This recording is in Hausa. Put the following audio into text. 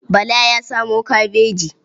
Bala ya samo kabaji.